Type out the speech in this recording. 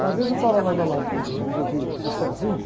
Uma vez eu estava lá na lagoa, resolvi ir sozinho.